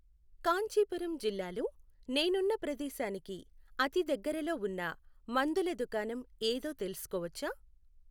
కాంచీపురం జిల్లాలో నేనున్న ప్రదేశానికి అతిదగ్గరలో ఉన్న మందుల దుకాణం ఏదో తెలుసుకోవచ్చా?